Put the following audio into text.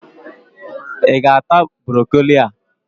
I ga-ata Brokoli a!